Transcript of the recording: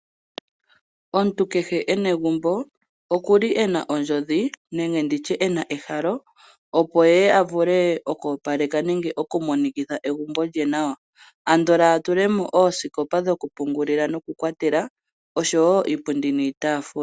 Omuntu kehe ena egumbo okuli ena ondjodhi nenditye ena ehalo, opo eye avule okopaleka nenge okumonikitha egumbo lye nawa, andola atulemo oosikopa dhokupungulila nokukwatela oshowo iipundi niitafula.